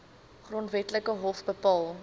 grondwetlike hof bepaal